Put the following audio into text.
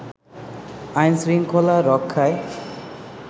আইনশৃঙ্খলা রক্ষায়